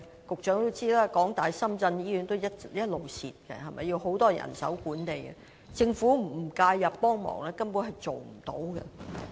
局長也知道，香港大學深圳醫院不斷虧蝕，由於需要很多人手來管理，政府不介入幫忙，根本無法辦到。